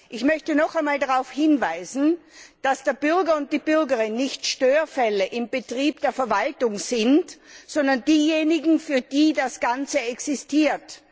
Ich möchte nochmals darauf hinweisen, dass der Bürger und die Bürgerin nicht Störfälle im Betrieb der Verwaltung sind, sondern diejenigen, für die das Ganze existiert.